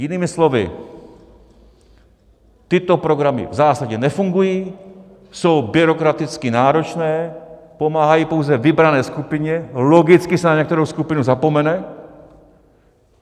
Jinými slovy, tyto programy v zásadě nefungují, jsou byrokraticky náročné, pomáhají pouze vybrané skupině, logicky se na některou skupinu zapomene.